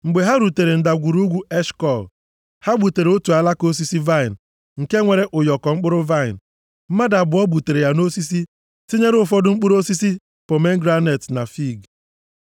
Mgbe ha rutere Ndagwurugwu Eshkọl, + 13:23 Eshkọl pụtara Ụyọkọ nke a dịkwa nʼamaokwu nke \+xt 13:24\+xt* ha gbutere otu alaka osisi vaịnị nke nwere ụyọkọ mkpụrụ vaịnị. Mmadụ abụọ butere ya nʼosisi tinyere ụfọdụ mkpụrụ osisi pomegranet na fiig.